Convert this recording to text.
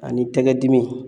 Ani tɛgɛ dimi.